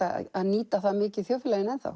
að nýta það mikið í þjóðfélaginu